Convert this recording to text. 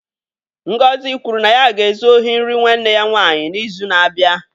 Ngozi kwuru na ya ga-ezu ohi nri nwanne ya nwaanyị n'izu na-abịa.